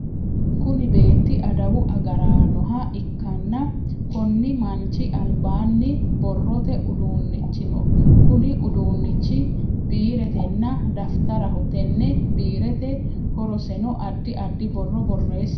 Kunni beeti adawu agaraanoha ikanna konni manchi albaanni borrote udunichi no Kunni uduunichi biiretenna dafitaraho. Tenne biireti horoseno addi addi borro boreesate.